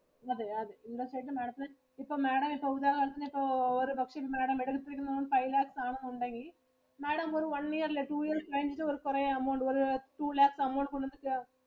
അതെ ആ interest rate Madam ത്തിന് ഇപ്പൊ Madam ഈ ഓരോ വാർഷോം ഇപ്പൊ Madam five lakhs ആണെന്ന് ഉണ്ടെങ്കിൽ Madam ഒരു one year ല് two year കഴിഞ്ഞിട്ട് കുറെ amount ഒരു two lakhs amount കൊടുത്തിട്ടു